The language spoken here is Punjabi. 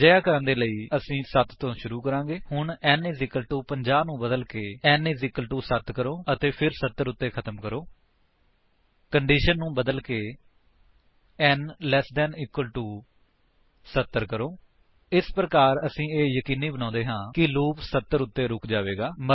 ਅਜਿਹਾ ਕਰਨ ਦੇ ਲਈ ਅਸੀ 7 ਤੋਂ ਸ਼ੁਰੂ ਕਰਾਂਗੇ ਹੁਣ n 50 ਨੂੰ ਬਦਲਕੇ n 7 ਕਰੋ ਅਤੇ ਫਿਰ 70 ਉੱਤੇ ਖ਼ਤਮ ਕਰੋ ਕੰਡੀਸ਼ਨ ਨੂੰ ਬਦਲਕੇ n ਲੈੱਸ ਇਕੁਅਲ ਟੋ 70 ਕਰੋ ਇਸ ਪ੍ਰਕਾਰ ਅਸੀ ਇਹ ਯਕੀਨੀ ਬਣਾਉਂਦੇ ਹਾਂ ਕਿ ਲੂਪ 70 ਉੱਤੇ ਰੁਕ ਜਾਵੇਗਾ